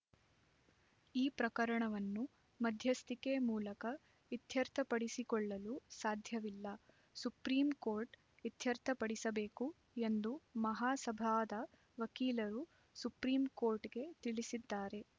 ಈ ಪ್ರಕರಣವನ್ನು ಮಧ್ಯಸ್ಥಿಕೆ ಮೂಲಕ ಇತ್ಯರ್ಥಪಡಿಸಿಕೊಳ್ಳಲು ಸಾಧ್ಯವಿಲ್ಲ ಸುಪ್ರೀಂ ಕೋರ್ಟ್ ಇತ್ಯರ್ಥಪಡಿಸಬೇಕು ಎಂದು ಮಹಾಸಭಾದ ವಕೀಲರು ಸುಪ್ರೀಂ ಕೋರ್ಟ್‌ಗೆ ತಿಳಿಸಿದ್ದಾರೆ